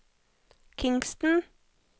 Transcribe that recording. Kingston